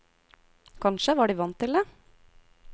Kanskje var de vant til det.